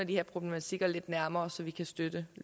de her problematikker lidt nærmere så vi kan støtte